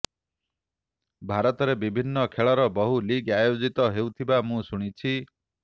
ଭାରତରେ ବିଭିନ୍ନ ଖେଳର ବହୁ ଲିଗ୍ ଆୟୋଜିତ ହେଉଥିବା ମୁଁ ଶୁଣିଛି